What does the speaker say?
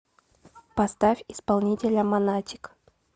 поставь исполнителя монатик